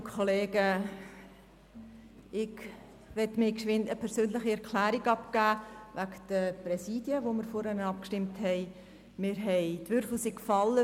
Ich möchte kurz eine persönliche Erklärung zu den vorherigen Abstimmungen über die Präsidien abgeben.